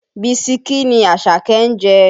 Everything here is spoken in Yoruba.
Bisikí ni Àṣàkẹ́ ń jẹ.